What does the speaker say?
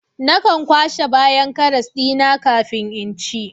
Nakan kwashe bayan karas dina kafin in ci